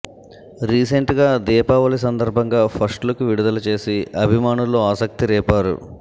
recent గా దీపావళి సందర్బంగా first look విడుదల చేసి అభిమానుల్లో ఆసక్తి రేపారు